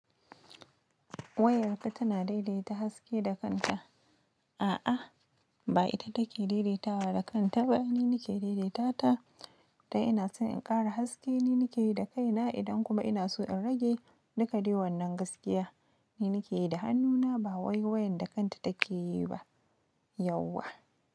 Wayarta tana daidaita haske da kanta. A'a, ba ita take daidaitawa da kanta ba, ni nake daidaitata ta. Da ina so in ƙara haske ni nake yi da kaina. Idan kuma ina so in rage ni kaɗai wannan gaskiya ni nake yi da hannuna, ba wayoyin da kanta take yi ba, yauwa.